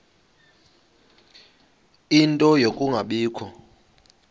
ie nto yokungabikho